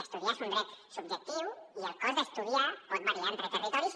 estudiar és un dret subjectiu i el cost d’estudiar pot variar entre territoris